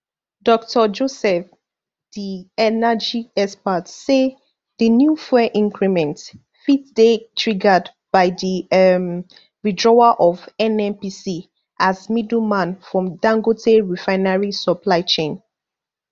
dr joseph di energy expert say di new fuel increment fit dey triggered by di um withdrawal of nnpc as middleman from dangote refinery supply chain